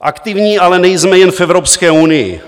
Aktivní ale nejsme jen v Evropské unii.